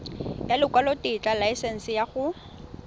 ya lekwalotetla laesense ya go